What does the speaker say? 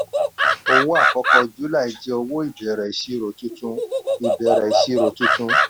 owó àkọ́kọ́ july jẹ owó ìbẹ̀rẹ̀ ìṣirò tuntun. ìbẹ̀rẹ̀ ìṣirò tuntun.